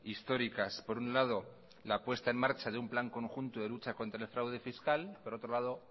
históricas por un lado la puesta en marcha de un plan conjunto de lucha contra el fraude fiscal y por otro lado